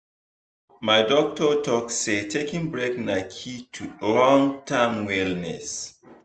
my doctor talk say taking break na key to long term wellness.